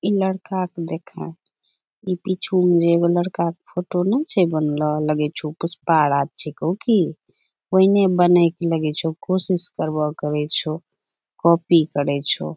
ई लड़का क देखैं ई पीछू म जे एगो लड़काक फोटो नैय छै बनलो लगै छो पुष्पा राज छेकौ कि वेहने बनैक लगै छो कोशिश करबो करै छो काॅपी करै छो।